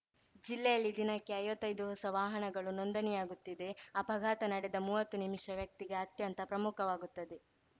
ಜಿಲ್ಲೆಯಲ್ಲಿ ದಿನಕ್ಕೆ ಐವತ್ತೈದು ಹೊಸ ವಾಹನಗಳು ನೋಂದಣಿಯಾಗುತ್ತಿದೆ ಅಪಘಾತ ನಡೆದ ಮೂವತ್ತು ನಿಮಿಷ ವ್ಯಕ್ತಿಗೆ ಅತ್ಯಂತ ಪ್ರಮುಖವಾಗುತ್ತದೆ